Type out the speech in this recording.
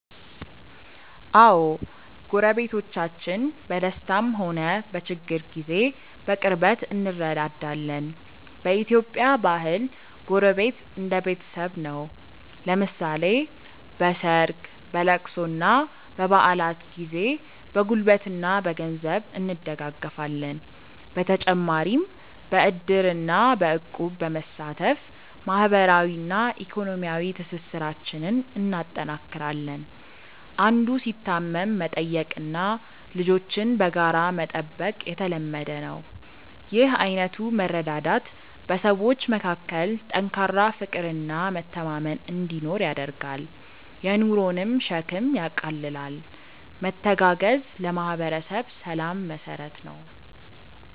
አዎ፣ ጎረቤቶቻችን በደስታም ሆነ በችግር ጊዜ በቅርበት እንረዳዳለን። በኢትዮጵያ ባህል ጎረቤት እንደ ቤተሰብ ነው፤ ለምሳሌ በሰርግ፣ በልቅሶና በበዓላት ጊዜ በጉልበትና በገንዘብ እንደጋገፋለን። በተጨማሪም በዕድርና በእቁብ በመሳተፍ ማህበራዊና ኢኮኖሚያዊ ትስስራችንን እናጠናክራለን። አንዱ ሲታመም መጠየቅና ልጆችን በጋራ መጠበቅ የተለመደ ነው። ይህ አይነቱ መረዳዳት በሰዎች መካከል ጠንካራ ፍቅርና መተማመን እንዲኖር ያደርጋል፤ የኑሮንም ሸክም ያቃልላል። መተጋገዝ ለማህበረሰብ ሰላም መሰረት ነው።